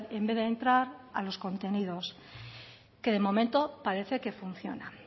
en vez de entrar a los contenidos que de momento parece que funciona